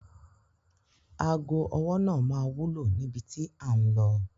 Àwọn òṣìṣẹ́ náà ra íńkì fún àwọn ẹ̀rọ ìtẹ̀wé.